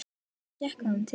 Hvað gekk honum til?